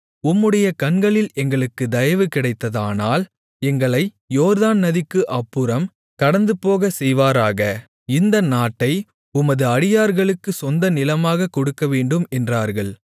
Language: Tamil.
உம்முடைய கண்களில் எங்களுக்குத் தயவு கிடைத்ததானால் எங்களை யோர்தான் நதிக்கு அப்புறம் கடந்துபோகச்செய்வாராக இந்த நாட்டை உமது அடியார்களுக்குக் சொந்த நிலமாக கொடுக்கவேண்டும் என்றார்கள்